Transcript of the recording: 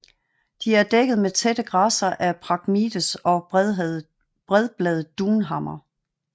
De er dækket med tætte græsser af Phragmites og bredbladet dunhammer